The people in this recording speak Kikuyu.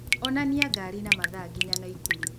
onania ngari na mathaa nginya naikuru